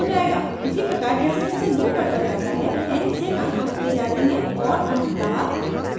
इसी प्रकार जैसे जैसे loop बढ़ता जाता है n से and हटते जाते हैं और अंततः